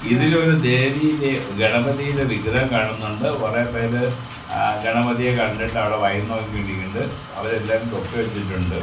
ഇതിൽ ഒരു ദേവി ഗണപതിയുടെ വിഗ്രഹം കാണുന്നുണ്ട് കുറെ പേര് ആ ഗണപതിയെ കണ്ടിട്ട് അവിടെ വായിനോക്കി കൊണ്ടിരിക്കിണുണ്ട് അവരെല്ലാരും തൊപ്പി വെച്ചിട്ടുണ്ട്.